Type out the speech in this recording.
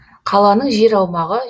қаланың жер аумағы